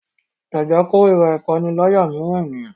Jake korira ipanilaya miiran eniyan